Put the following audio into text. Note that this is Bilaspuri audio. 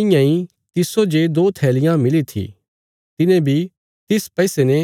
इयां इ तिस्सो जे दो थैलियां मिली थी तिने बी तिस पैसे ने